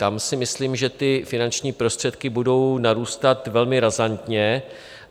Tam si myslím, že ty finanční prostředky budou narůstat velmi razantně.